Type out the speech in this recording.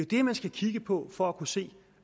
det man skal kigge på for at kunne se